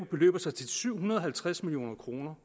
beløber sig til syv hundrede og halvtreds million kr